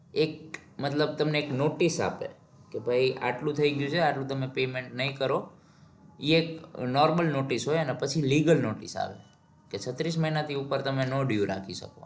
એક મતલબ તમને એક notice આપે કે ભાઈ આટલું થઇ ગયું છે આટલું તમે payment નઈ કરો ઇ એક normal notice હોય અને પછી legal notice આવે કે છત્રીસ મહિનાથી ઉપર તમે due આપી શકો.